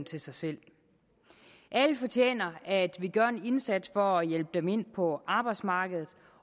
til sig selv alle fortjener at vi gør en indsats for at hjælpe dem ind på arbejdsmarkedet